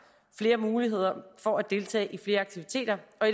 flere muligheder for at deltage i flere aktiviteter og